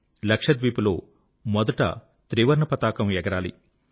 లక్షద్వీప్ లో మొదట త్రివర్ణ పతాకం ఎగరాలి